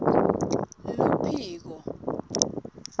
luphiko